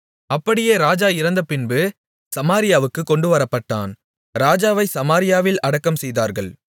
அப்படியே ராஜா இறந்தபின்பு சமாரியாவுக்குக் கொண்டுவரப்பட்டான் ராஜாவை சமாரியாவில் அடக்கம்செய்தார்கள்